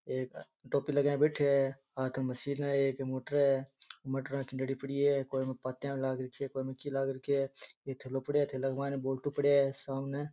एक टोपी लगाए बैठयो है हाथ में मशीन है एक मोटर है मोटरा की लड़ी पड़ी है --